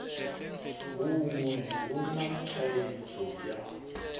haṋu hu na thaidzo ya